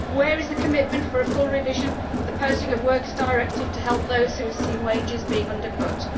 Where is the commitment for a full revision of the Posting of Workers Directive to help those who have seen wages being undercut?